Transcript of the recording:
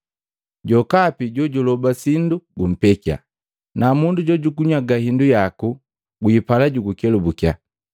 Jokapi jojuguloba sindu gumpekiya, na mundu jojugunyaga hindu yaku gwipala jugukelubukiya.